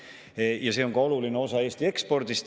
See on iseenesest ka oluline osa Eesti ekspordist.